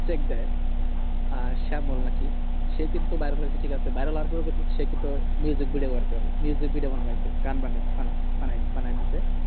check দেয় শ্যামল না কি সে কিন্তু viral ঠিক আছে viral হওয়ার পরেও সে কিন্তু video বানাইতেছে গান বাংলা বানাই বানাইদিচ্ছে